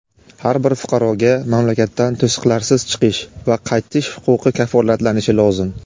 Har bir fuqaroga mamlakatdan to‘siqlarsiz chiqish va qaytish huquqi kafolatlanishi lozim.